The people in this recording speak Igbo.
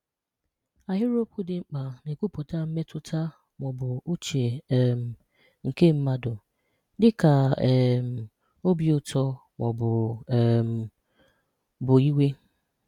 Ahịrịokwu dị mkpa na-ekwupụta mmetụta ma ọ bụ uche um nke mmadụ, dịka um obi ụtọ ma ọ um bụ iwe.